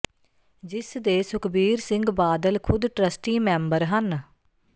ਜਿਸ ਦੇ ਸੁਖਬੀਰ ਸਿੰਘ ਬਾਦਲ ਖ਼ੁਦ ਟਰੱਸਟੀ ਮੈਂਬਰ ਹਨ